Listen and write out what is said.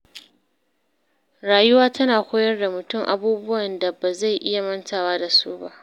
Rayuwa tana koyar da mutum abubuwan da ba zai iya mantawa da su ba.